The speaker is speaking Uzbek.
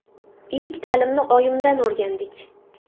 Ilk ta’limni oyimdan o‘rgandik.